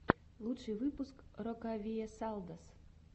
лучший выпуск рокавиэсалдос